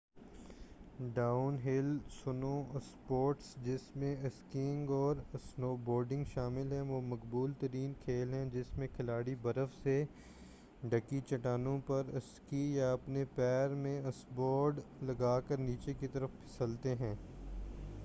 down ہل snow sports جس میں اسکیئنگ اور اسنوبورڈنگ شامل ہیں وہ مقبول ترین کھیل ہیں جس میں کھلاڑی برف سے ڈھکی چٹانوں پر اسکیز یا اپنے پیر میں اسنوبورڈ لگا کر نیچے کی طرف پھسلتے ہیں